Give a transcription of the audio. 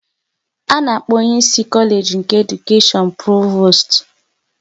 A na-akpọ onye ịsị Kolage nke Edukashion Provost